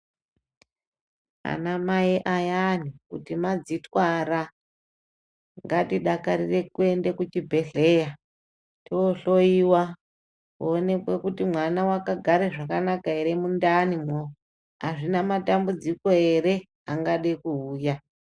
Ana mai ayani kuti madzitwara ngatidakarire kuende kuchibhehleya toohloyiwa kuonekwe kuti mwana wakagare zvakanaka ere mundani mwo, azvina matambudziko ere angade kuuya.